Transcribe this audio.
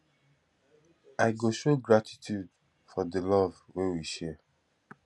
i go show gratitude for di love wey we share